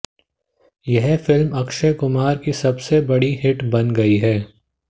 यह फिल्म अक्षय कुमार की सबसे बड़ी हिट बन गई है